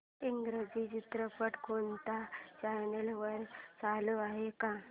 इंग्रजी चित्रपट कोणत्या चॅनल वर चालू आहे का